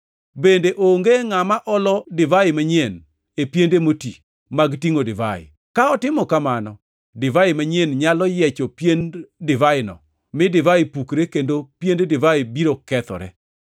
Bende onge ngʼama olo divai manyien e piende moti mag tingʼo divai. Ka otimo kamano, divai manyien nyalo yiecho piend divaino mi divai pukre kendo piend divai biro kethore.